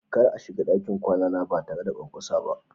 Kar a shiga dakin kwana na ba tare da kwankwasa ba.